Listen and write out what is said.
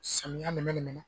Samiya minɛ de bɛna